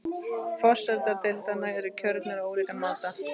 Forsetar deildanna eru kjörnir á ólíkan máta.